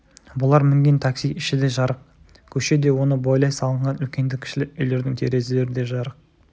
бұлар мінген такси іші де жарық көше де оны бойлай салынған үлкенді-кішілі үйлердің терезелері де жарық